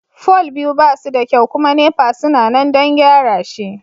fol biyu ba suda kyau kuma NEPA suna nan don gyara shi.